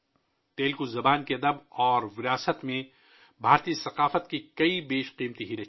تیلگو زبان کے ادب اور ورثے میں بھارتی ثقافت کے بہت سے انمول رتن پوشیدہ ہیں